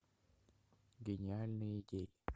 гениальные идеи